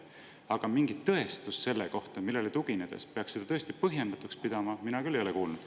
Aga mingit tõestust selle kohta, millele tuginedes peaks seda põhjendatuks pidama, ei ole mina küll kuulnud.